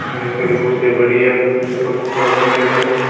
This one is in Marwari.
घनी सारी कुर्सियां पड़ी है कुर्सियां पर कपडा बान्धेड़ा है।